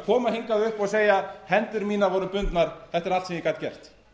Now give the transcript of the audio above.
að koma hingað upp og leggja hendur mínar voru bundnar þetta er allt sem ég gat gert